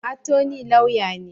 Attorney Lauya ne.